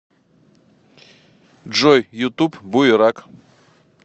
джой ютуб буерак